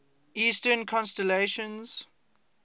eastern constellations